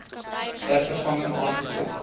ter vervanging aangekoop